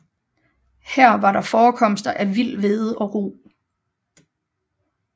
Her var der forekomster af vild hvede og rug